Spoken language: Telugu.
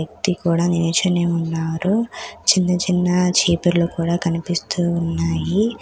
వ్యక్తి కూడా నిల్చొని ఉన్నారు. చిన్న చిన్న చీపుర్లు కూడా కనిపిస్తూ ఉన్నాయి.